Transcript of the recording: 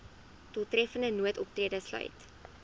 doeltreffende noodoptrede sluit